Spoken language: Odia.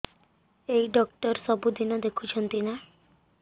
ଏଇ ଡ଼ାକ୍ତର ସବୁଦିନେ ଦେଖୁଛନ୍ତି ନା